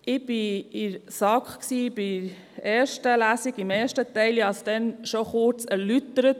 Ich war bei der ersten Lesung betreffend den ersten Teil in der SAK und hatte es damals bereits kurz erläutert.